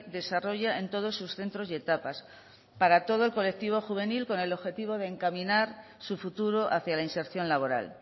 desarrolla en todos sus centros y etapas para todo el colectivo juvenil con el objetivo de encaminar su futuro hacia la inserción laboral